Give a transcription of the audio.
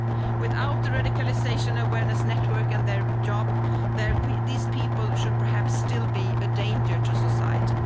same. Without the Radicalisation Awareness Network and their job, these people would perhaps still be a danger to society.